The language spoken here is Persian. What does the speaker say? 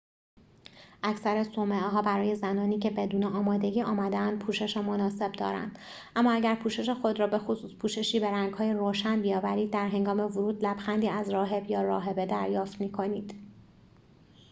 اکثر صومعه ها برای زنانی که بدون آمادگی آمده‌اند پوشش مناسب دارند اما اگر پوشش خود را به خصوص پوششی به رنگهای روشن بیاورید در هنگام ورود لبخندی از راهب یا راهبه دریافت می کنید